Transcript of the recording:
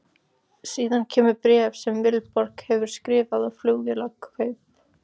Síðan kemur bréf sem Vilborg hefur skrifað á Flugvélarkaup?